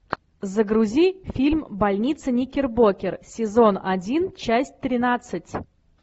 загрузи фильм больница никербокер сезон один часть тринадцать